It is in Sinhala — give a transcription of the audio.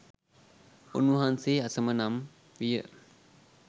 උන්වහන්සේ අසම නම් විය.